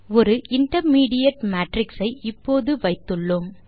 ஒரு intermediate matrix ஐ இப்போது வைத்துள்ளோம்